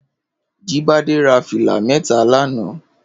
Jibade rà filá mètá lànã